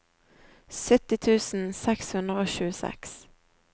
sytti tusen seks hundre og tjueseks